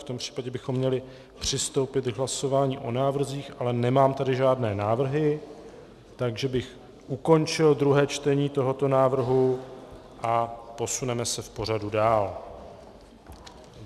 V tom případě bychom měli přistoupit k hlasování o návrzích, ale nemám tady žádné návrhy, takže bych ukončil druhé čtení tohoto návrhu a posuneme se v pořadu dál.